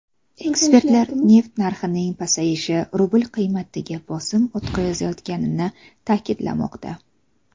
Ekspertlar neft narxining pasayishi rubl qiymatiga bosim o‘tkazayotganini ta’kidlamoqda.